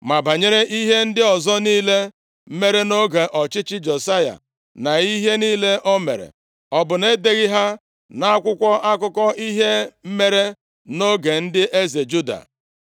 Ma banyere ihe ndị ọzọ niile mere nʼoge ọchịchị Josaya na ihe niile o mere, ọ bụ na e deghị ha nʼakwụkwọ akụkọ ihe mere nʼoge ndị eze Juda?